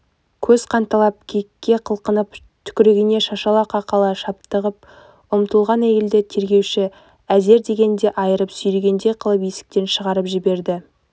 көз қанталап кекке қылқынып түкірігіне шашала-қақала шаптығып ұмтылған әйелді тергеуші әзер дегенде айырып сүйрегендей қылып есіктен шығарып жіберді